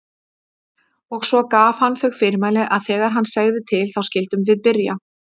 Og svo gaf hann þau fyrirmæli að þegar hann segði til þá skyldum við byrja.